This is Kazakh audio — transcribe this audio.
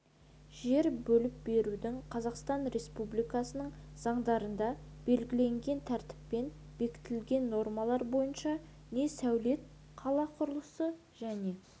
жер бөліп берудің қазақстан республикасының заңдарында белгіленген тәртіппен бекітілген нормалар бойынша не сәулет-қала құрылысы және